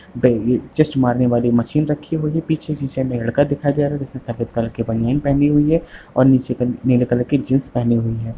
ब चेस्ट मारने वाली मशीन रखी हुई है पीछे शीशे में लड़का दिखाई दे रहा है जिसने सफेद कलर की बनियान पहनी हुई है और नीचे क नीले कलर की जींस पहनी हुई है।